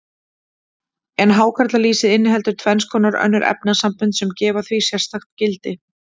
En hákarlalýsið inniheldur tvenns konar önnur efnasambönd, sem gefa því sérstakt gildi.